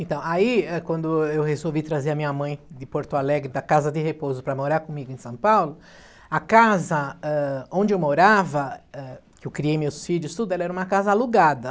Então, aí, eh, quando eu resolvi trazer a minha mãe de Porto Alegre, da casa de repouso, para morar comigo em São Paulo, a casa eh, onde eu morava, eh, que eu criei meus filhos e tudo, era uma casa alugada.